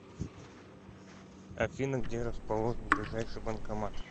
афина где расположен ближайший банкомат